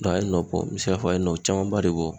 Dɔn a ye nɔ bɔ n be se k'a fɔ a ye nɔ camanba de bɔ